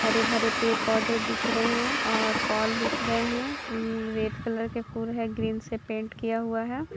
हरे भरे पेड़ पोधे दिख रहे है और पोल दिख रहा है अम्म्म रेड कलर के फूल है ग्रीन से पेंट किया हुआ है।